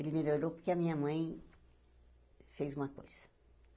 Ele melhorou porque a minha mãe fez uma coisa.